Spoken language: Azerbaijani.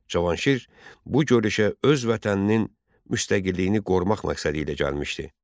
Cavanşir bu görüşə öz vətəninin müstəqilliyini qorumaq məqsədilə gəlmişdi.